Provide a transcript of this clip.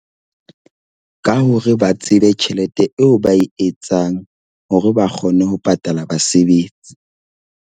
Ka hore ba tsebe tjhelete eo ba e etsang hore ba kgone ho patala basebetsi.